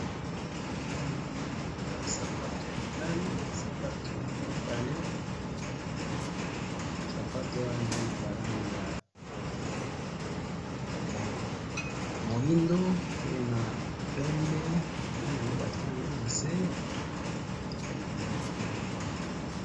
Awa namoni ba sapatu ya mibali, sapatu mibale, sapatu wana eza na ba langi ya moindo pe na pembe, namoni yango batie yango na se, nde namoni yango wana